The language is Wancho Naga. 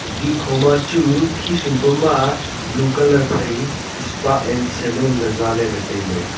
ding kho ma chu khisum pama blue phai spa and salon ley zaley ley tailey.